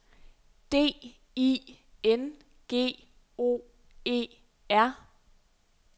D I N G O E R